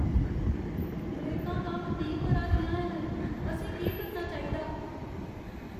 ब्रेकां कम्म नेईं करा दियां हैन। असें केह् करना चाहिदा?